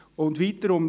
Weiter heisst es: